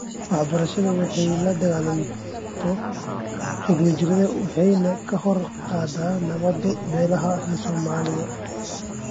Waxbarashadu waxay la dagaalanto xagjirnimada waxayna kor u qaadaa nabadda beelaha rer somalida .